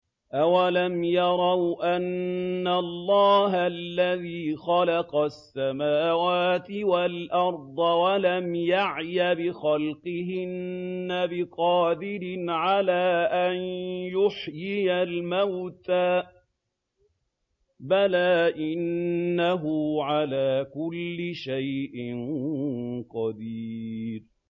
أَوَلَمْ يَرَوْا أَنَّ اللَّهَ الَّذِي خَلَقَ السَّمَاوَاتِ وَالْأَرْضَ وَلَمْ يَعْيَ بِخَلْقِهِنَّ بِقَادِرٍ عَلَىٰ أَن يُحْيِيَ الْمَوْتَىٰ ۚ بَلَىٰ إِنَّهُ عَلَىٰ كُلِّ شَيْءٍ قَدِيرٌ